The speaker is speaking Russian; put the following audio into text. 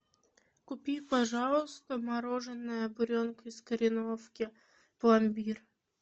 купи пожалуйста мороженое буренка из кореновки пломбир